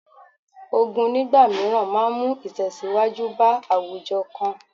Ogun nígbà mìíràn máa mú ìtẹ̀síwájú bá àwùjọ kan